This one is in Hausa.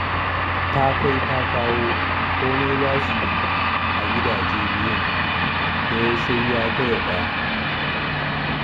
Ta kai ta kawo komai za su yi a gidajen biyu ɗaya sai ya taya ɗaya.